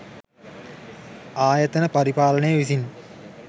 ආයතන පරිපාලනය විසින්